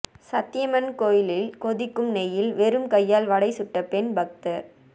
சந்தியம்மன் கோயிலில் கொதிக்கும் நெய்யில் வெறும் கையால் வடை சுட்ட பெண் பக்தர்